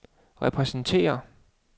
repræsenterer